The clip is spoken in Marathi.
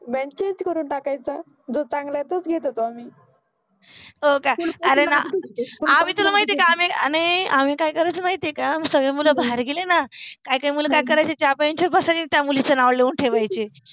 बेंच चेंज करुन घ्यायच, जो चांगला आहे तोच घेत होतो आम्हि आम्हि आम्हि आम्हि काय करायचो माहिति आहे का सगले मुल बाहेर गेले न काइ काइ मुल काय करायचे ज्या बेंचवर बसायचे त्या मुलिंचे नाव लिहुन ठेवायचे